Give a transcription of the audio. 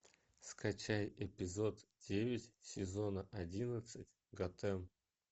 скачай эпизод девять сезона одиннадцать готэм